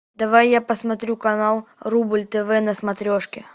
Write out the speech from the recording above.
давай я посмотрю канал рубль тв на смотрешке